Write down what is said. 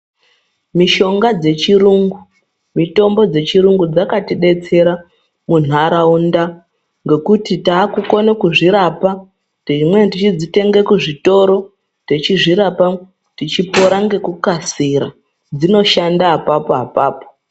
Mishonga dzechirungu, mitombo dzechirungu dzakatidetsera munharaunda ngekuti takukone kuzvirapa. Dzimweni tichidzitenga kuzvitoro, techizvirapa techipora ngekukasira .Dzinoshanda apapo apapo.